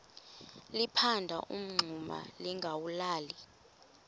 liphanda umngxuma lingawulali